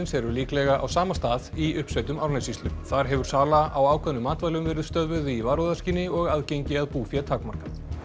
eru líklega á sama stað í uppsveitum Árnessýslu þar hefur sala á ákveðnum matvælum verið stöðvuð í varúðarskyni og aðgengi að búfé takmarkað